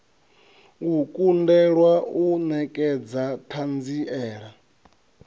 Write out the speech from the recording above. u kundelwa u nekedza thanziela